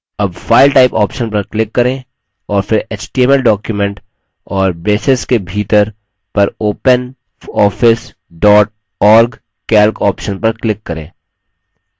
अब file type option पर click करें और फिर html document और braces के भीतर पर openoffice dot org calc option पर click करें